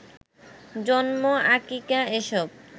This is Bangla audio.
জন্ম, আকিকা এসব